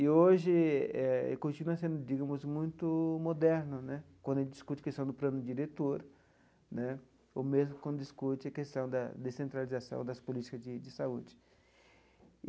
E hoje eh continua sendo, digamos, muito moderno né, quando a gente discute a questão do plano diretor né, ou mesmo quando discute a questão da descentralização das políticas de de saúde.